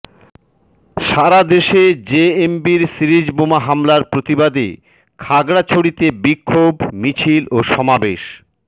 সারাদেশে জেএমবির সিরিজ বোমা হামলার প্রতিবাদে খাগড়াছড়িতে বিক্ষোভ মিছিল ও সমাবেশ